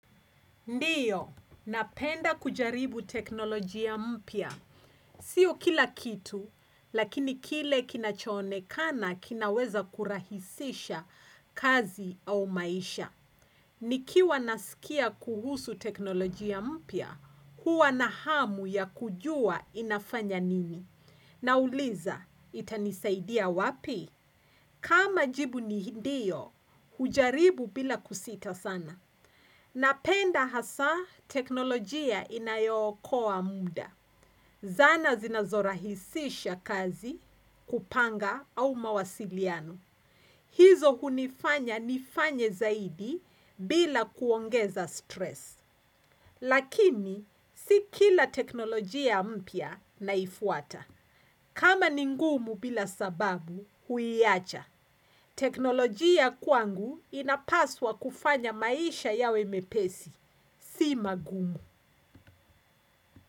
Ndiyo, ninapenda kujaribu teknolojia mpya. Siyo kila kitu, lakini kile kinachoonekana kinaweza kurahisisha kazi au maisha. Nikiwa nasikia kuhusu teknolojia mpya, huwa na hamu ya kujua inafanya nini. Nauliza, itanisaidia wapi? Kama jibu ni ndiyo, hujaribu bila kusita sana. Ninapenda hasa teknolojia inayookoa muda. Zana zinazorahisisha kazi kupanga au mawasiliano. Hizo hunifanya nifanye zaidi bila kuongeza stress. Lakini, si kila teknolojia mpya naifuata. Kama ningumu bila sababu huiacha. Teknolojia kwangu inapaswa kufanya maisha yawe mepesi, siyo magumu.